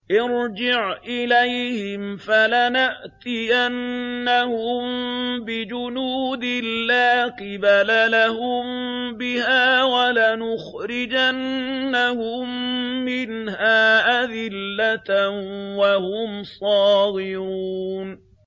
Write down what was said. ارْجِعْ إِلَيْهِمْ فَلَنَأْتِيَنَّهُم بِجُنُودٍ لَّا قِبَلَ لَهُم بِهَا وَلَنُخْرِجَنَّهُم مِّنْهَا أَذِلَّةً وَهُمْ صَاغِرُونَ